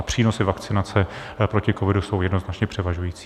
A přínosy vakcinace proti covidu jsou jednoznačně převažující.